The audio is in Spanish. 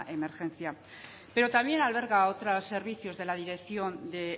emergencia pero también alberga otros servicios de la dirección de